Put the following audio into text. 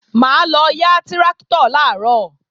Mà á lọ yá tráktọ̀ làárọ̀